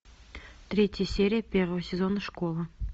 третья серия первого сезона школа